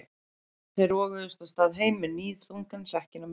Þeir roguðust af stað heim með níðþungan sekkinn á milli sín.